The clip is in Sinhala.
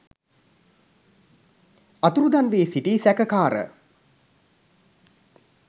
අතුරුදහන්වී සිටි සැකකාර